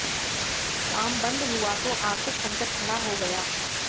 काम बंद हुआ तो आर्थिक संकट खड़ा हो गया